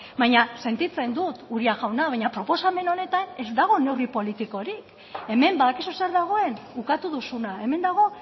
baina sentitzen dut uria jauna baina proposamen honetan ez dago neurri politikorik hemen badakizu zer dagoen ukatu duzuna hemen dago